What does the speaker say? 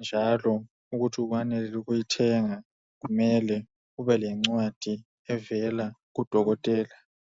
njalo ukuthi uwenelele ukuyithenga kumele ube lencwadi evela kudokotela.